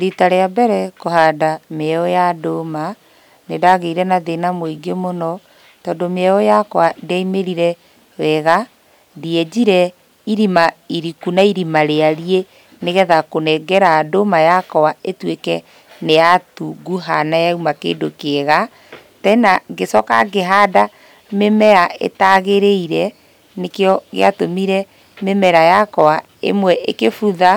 Rita rĩa mbere kũhanda mĩeũ ya ndũma, nĩndagĩire na thĩna mũingĩ mũno, tondũ mĩeũ yakwa ndĩaimĩrire wega, ndienjire irima iriku na irima rĩarie nĩgetha kũnengera ndũma yakwa ĩtuĩke nĩyatunguha na yauma kĩndũ kĩega, tena ngĩcoka ngĩhanda mĩmea ĩtagaĩrĩire, nĩkĩo gĩatũmire mĩmera yakwa ĩmwe ĩkĩbutha